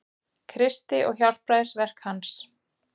Kristi og hjálpræðisverki hans.